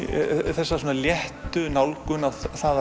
þessa léttu nálgun að það